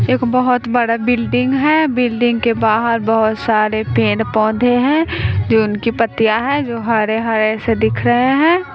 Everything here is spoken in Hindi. एक बहोत बड़ा बिल्डिंग है बिल्डिंग के बाहर बहोत सारे पेड़ पौधे हैं जो उनकी पत्तियां है जो हरे हरे से दिख रहे हैं।